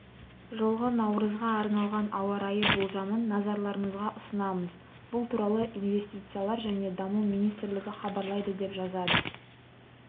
жылғы наурызға арналған ауа-райы болжамын назарларыңызға ұсынамыз бұл туралы инвестициялар және даму министрлігі хабарлайды деп жазады